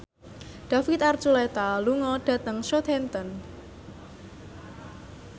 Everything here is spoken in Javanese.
David Archuletta lunga dhateng Southampton